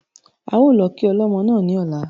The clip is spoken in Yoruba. A ó lọ kí ọlọ́mọ náà ní ọ̀la